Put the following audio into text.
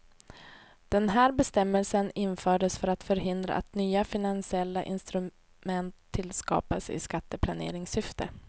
Den här bestämmelsen infördes för att förhindra att nya finansiella instrument tillskapas i skatteplaneringssyfte.